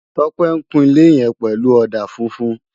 Tope n kún ilé yèn pèlú òdá fúfún